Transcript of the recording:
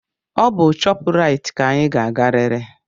Ọ bụ shoprite ka anyị ga-agarịrị!